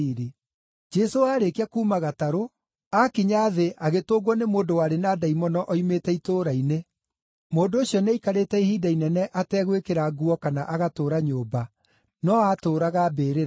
Jesũ aarĩkia kuuma gatarũ, aakinya thĩ agĩtũngwo nĩ mũndũ warĩ na ndaimono oimĩte itũũra-inĩ. Mũndũ ũcio nĩaikarĩte ihinda inene ategwĩkĩra nguo kana agatũũra nyũmba, no aatũũraga mbĩrĩra-inĩ.